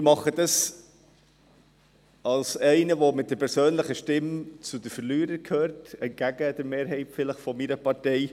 Ich mache das als einer, der mit seiner Stimme zu den Verlierern gehört, vielleicht entgegen der Mehrheit meiner Partei.